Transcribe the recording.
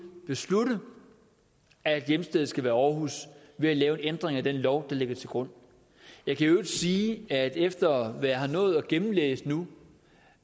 beslutte at hjemstedet skal være aarhus ved at lave en ændring af den lov der ligger til grund jeg kan i øvrigt sige at efter hvad jeg har nået at gennemlæse nu